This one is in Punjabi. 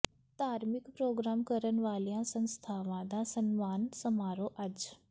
ਧਾਰਮਿਕ ਪ੍ਰੋਗਰਾਮ ਕਰਨ ਵਾਲੀਆਂ ਸੰਸਥਾਵਾਂ ਦਾ ਸਨਮਾਨ ਸਮਾਰੋਹ ਅੱਜ